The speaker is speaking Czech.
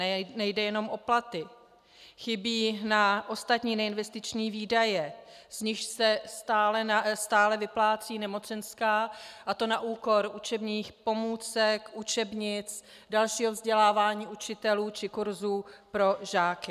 Nejde jenom o platy, chybí na ostatní neinvestiční výdaje, z nichž se stále vyplácí nemocenská, a to na úkor učebních pomůcek, učebnic, dalšího vzdělávání učitelů či kursů pro žáky.